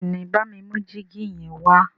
béèni bámi mú jìgì yen wá